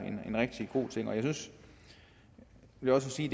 en rigtig god ting og jeg vil også sige